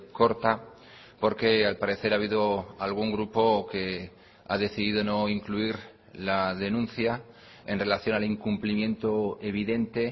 corta porque al parecer ha habido algún grupo que ha decidido no incluir la denuncia en relación al incumplimiento evidente